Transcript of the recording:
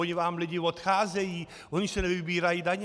Oni vám lidi odcházejí, oni se nevybírají daně.